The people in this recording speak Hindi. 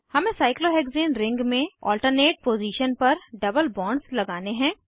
हमें साइक्लोहेक्सेन रिंग में ऑल्टर्नेट पोज़ीशन पर डबल बॉन्ड्स लगाने हैं